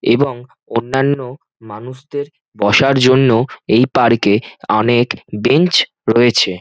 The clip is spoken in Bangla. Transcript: এবং অন্যান্য মানুষদের বসার জন্যও এই পার্ক -এ অনেক বেঞ্চ রয়েছে।